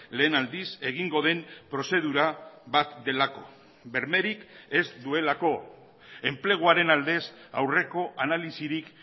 lehen aldiz egingo den prozedura bat delako bermerik ez duelako enpleguaren aldez aurreko analisirik